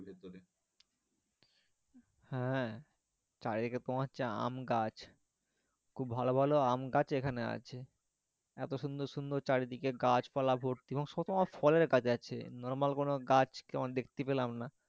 হ্যাঁ চারিদিকে তোমার হচ্ছে আমগাছ খুব ভালো ভালো আম গাছ এখানে আছে এতো সুন্দর সুন্দর চারিদিকে গাছপালা ভর্তি এবং কতরকম ফলের গাছ আছে normal কোনো গাছ তেমন দেখতে পেলাম না,